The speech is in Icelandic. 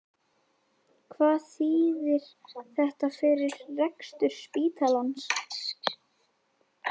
Hvað þýðir þetta fyrir rekstur spítalans?